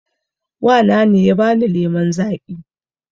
Wa na ne ya ba ni lemon zaƙi